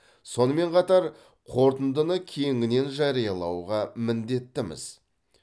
сонымен қатар қорытындыны кеңінен жариялауға міндеттіміз